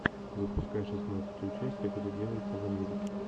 запускай шестнадцатую часть как это делается в америке